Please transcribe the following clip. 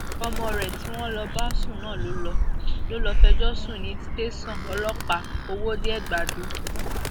ọmọ rẹ tí wọn lọ ń bá sùn náà ló lọ ló lọ fẹjọ sùn ní tẹsán ọlọpàá òwòde ẹgbàdo